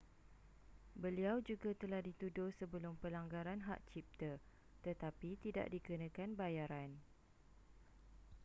beliau juga telah dituduh sebelum pelanggaran hak cipta tetapi tidak dikenakan bayaran